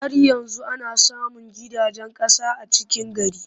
Har yanzu ana samun gidajen ƙasa a cikin gari.